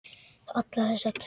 Allar þessar tölur.